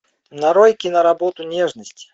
нарой киноработу нежность